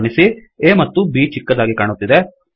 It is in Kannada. ಗಮನಿಸಿ A ಮತ್ತುB ಚಿಕ್ಕದಾಗಿ ಕಾಣುತ್ತಿದೆ